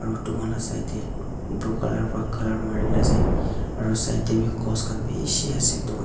etu manu laga side tae blue colour marina ase aru side tae vi post khan bishi ase.